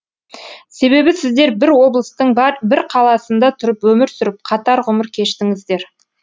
себебі сіздер бір облыстың бір қаласында тұрып өмір сүріп қатар ғұмыр кештіңіздер